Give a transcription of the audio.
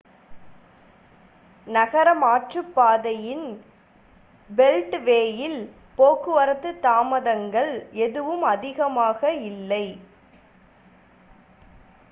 நகர மாற்றுப்பாதையின் பெல்ட்வேயில் போக்குவரத்து தாமதங்கள் எதுவும் அதிகமாக இல்லை